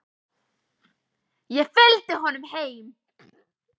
Ég fylgdi honum heim.